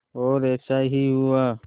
और ऐसा ही हुआ